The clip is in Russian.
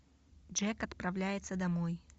джек отправляется домой